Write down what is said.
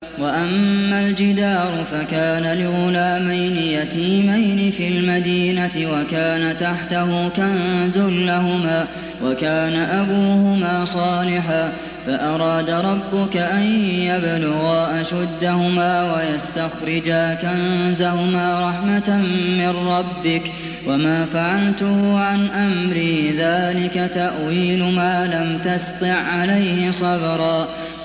وَأَمَّا الْجِدَارُ فَكَانَ لِغُلَامَيْنِ يَتِيمَيْنِ فِي الْمَدِينَةِ وَكَانَ تَحْتَهُ كَنزٌ لَّهُمَا وَكَانَ أَبُوهُمَا صَالِحًا فَأَرَادَ رَبُّكَ أَن يَبْلُغَا أَشُدَّهُمَا وَيَسْتَخْرِجَا كَنزَهُمَا رَحْمَةً مِّن رَّبِّكَ ۚ وَمَا فَعَلْتُهُ عَنْ أَمْرِي ۚ ذَٰلِكَ تَأْوِيلُ مَا لَمْ تَسْطِع عَّلَيْهِ صَبْرًا